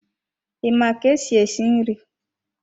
I ma ka-esi esi nri?